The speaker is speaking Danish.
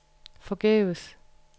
forgæves